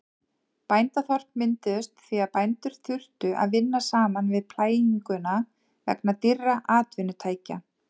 Bændaþorp mynduðust því að bændur þurftu að vinna saman við plæginguna vegna dýrra atvinnutækja.